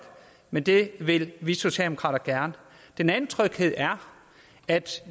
men det vil vi socialdemokrater gerne den anden tryghed er at